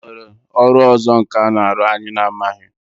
E nwere ọrụ ọzọ nkà na-arụ anyị na-amaghị?